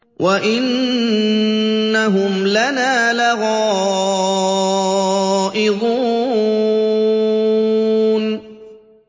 وَإِنَّهُمْ لَنَا لَغَائِظُونَ